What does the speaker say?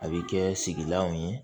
A bɛ kɛ sigilanw ye